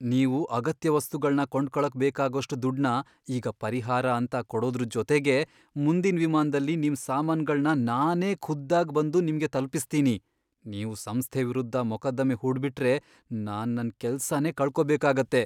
ನೀವು ಅಗತ್ಯ ವಸ್ತುಗಳ್ನ ಕೊಂಡ್ಕೊಳಕ್ ಬೇಕಾಗೋಷ್ಟ್ ದುಡ್ಡ್ನ ಈಗ ಪರಿಹಾರ ಅಂತ ಕೊಡೋದ್ರ್ ಜೊತೆಗೆ ಮುಂದಿನ್ ವಿಮಾನ್ದಲ್ಲಿ ನಿಮ್ ಸಾಮಾನ್ಗಳ್ನ ನಾನೇ ಖುದ್ದಾಗ್ ಬಂದು ನಿಮ್ಗೆ ತಲ್ಪಿಸ್ತೀನಿ. ನೀವು ಸಂಸ್ಥೆ ವಿರುದ್ಧ ಮೊಕದ್ದಮೆ ಹೂಡ್ಬಿಟ್ರೆ, ನಾನ್ ನನ್ ಕೆಲ್ಸನೇ ಕಳ್ಕೋಬೇಕಾಗತ್ತೆ.